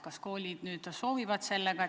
Kas koolid soovivad sellega ühineda?